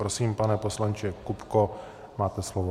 Prosím, pane poslanče Kupko, máte slovo.